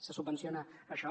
se subvenciona això